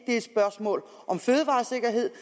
er et spørgsmål om fødevaresikkerhed